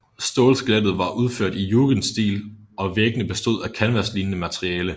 Stålskelettet var udført i jugendstil og væggene bestod af et kanvaslignende materiale